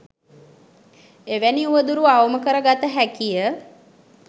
එවැනි උවදුරු අවම කර ගත හැකිය.